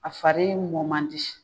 A fari mɔ man di.